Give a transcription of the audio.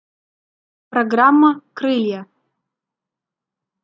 программа крылья